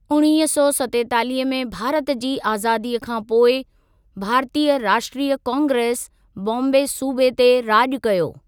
उणिवीह सौ सतेतालीह में भारत जी आज़ादीअ खां पोइ, भारतीय राष्ट्रीय कांग्रेस बॉम्बे सूबे ते राॼ कयो।